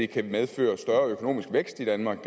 kan medføre større økonomisk vækst i danmark